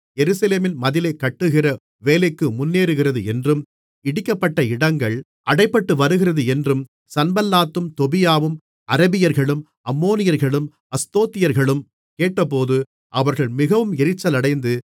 எருசலேமின் மதிலைக் கட்டுகிற வேலை முன்னேறுகிறது என்றும் இடிக்கப்பட்ட இடங்கள் அடைபட்டுவருகிறது என்றும் சன்பல்லாத்தும் தொபியாவும் அரபியர்களும் அம்மோனியர்களும் அஸ்தோத்தியர்களும் கேட்டபோது அவர்கள் மிகவும் எரிச்சலடைந்து